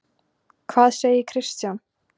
Hvað segir Kristján?